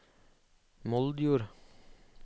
Moldjord